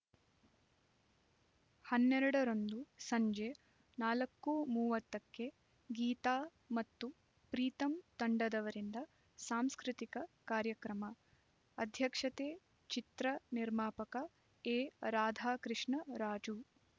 ಹನ್ನೆರಡ ರಂದು ಸಂಜೆ ನಾಲ್ಕು ಮೂವತ್ತಕ್ಕೆ ಗೀತಾ ಮತ್ತು ಪ್ರೀತಮ್ ತಂಡದವರಿಂದ ಸಾಂಸ್ಕೃತಿಕ ಕಾರ್ಯಕ್ರಮ ಅಧ್ಯಕ್ಷತೆ ಚಿತ್ರ ನಿರ್ಮಾಪಕ ಎರಾಧಾಕೃಷ್ಣ ರಾಜು